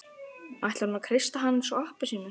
Ætlar hún að kreista hann eins og appelsínu?